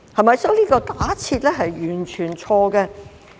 因此，這假設是完全錯誤的。